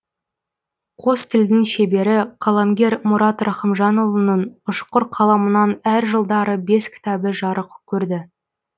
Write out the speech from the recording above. қос тілдің шебері қаламгер мұрат рахымжанұлының ұшқыр қаламынан әр жылдары бес кітабы жарық көрді